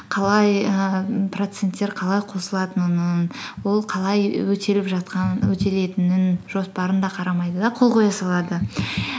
қалай ііі проценттер қалай қосылатынынын ол қалай өтелетінін жоспарын да қарамайды да қол қоя салады